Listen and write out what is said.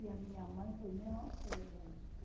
E a minha mãe foi a mesma coisa.